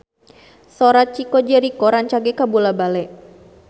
Sora Chico Jericho rancage kabula-bale